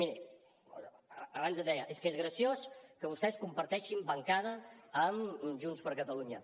miri abans em deia és que és graciós que vostès comparteixin bancada amb junts per catalunya